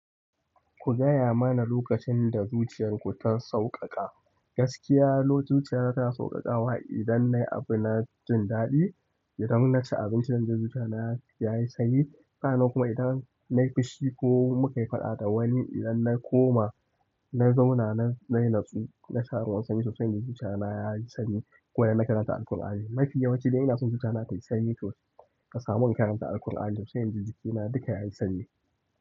Ku gaya mana lokacin da zuciyarku ta sauƙaƙa. Gaskiya zuciyana tana sauƙaƙawa idan nayi abu na jin daɗi, idan na ci abinci zan ji zuciya na yayi sanyi. Hakanan kuma idan nayi fushi ko muka yi faɗa da wani idan na koma na zauna na, nayi natsu na sha ruwan sanyi so sai inji zuciya na yayi sanyi. Ko idan na karanta Alkur'ani mafi yawancin idan ina son zuciya na tayi sanyi to ka samu in karanta Alkur'ani so sai inji jikina duka yayi sanyi.